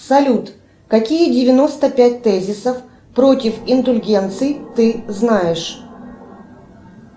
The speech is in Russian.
салют какие девяносто пять тезисов против индульгенций ты знаешь